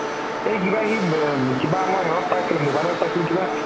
এই কিবা সি কিবা মই সেই হ'ত পাইছিলো mobile ত পাইছিলো কিবা